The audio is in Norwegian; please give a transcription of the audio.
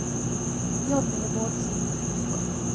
Johnny Bårdsen